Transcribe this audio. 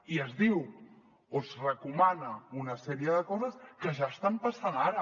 i es diu o es recomana una sèrie de coses que ja estan passant ara